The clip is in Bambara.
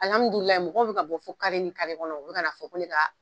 Alihamidulahi mɔgɔw bi ka bɔ fɔ kare kɔnɔ o be ka n'a fɔ ko ne kaa